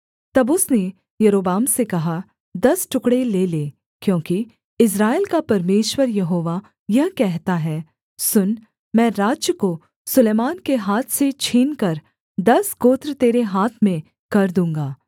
तब उसने यारोबाम से कहा दस टुकड़े ले ले क्योंकि इस्राएल का परमेश्वर यहोवा यह कहता है सुन मैं राज्य को सुलैमान के हाथ से छीनकर दस गोत्र तेरे हाथ में कर दूँगा